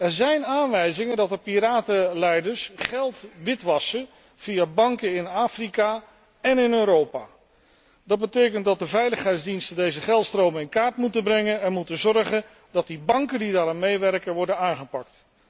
Er zijn aanwijzingen dat de piratenleiders geld witwassen via banken in Afrika en in Europa. Dat betekent dat de veiligheidsdiensten deze geldstromen in kaart moeten brengen en moeten zorgen dat de banken die daaraan meewerken worden aangepakt.